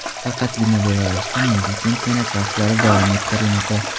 Faqatgina Belarusda milliy chempionat bahslari davom ettirilmoqda .